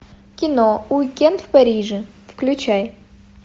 кино уикенд в париже включай